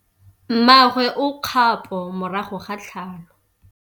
Mmagwe o kgapô morago ga tlhalô.